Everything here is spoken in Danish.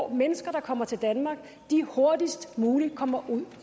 mennesker der kommer til danmark hurtigst muligt kommer ud